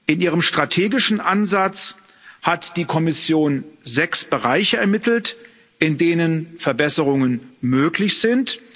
In ihrem strategischen Ansatz hat die Kommission sechs Bereiche ermittelt, in denen Verbesserungen möglich sind.